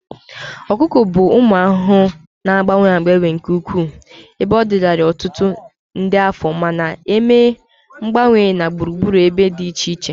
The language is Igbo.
Ọkụkụ bụ ụmụ ahụhụ na-agbanwe agbanwe nke ukwuu, ebe ọ dịlarị ọtụtụ nde afọ ma na-eme mgbanwe na gburugburu ebe dị iche iche.